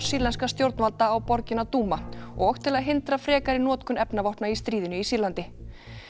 sýrlenskra stjórnvalda á borgina og til að hindra frekari notkun efnavopna í stríðinu í Sýrlandi